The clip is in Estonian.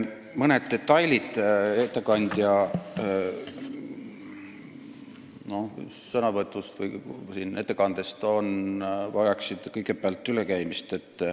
Mõned detailid ettekandja sõnavõtust, ettekandest vajavad kõigepealt ülekäimist.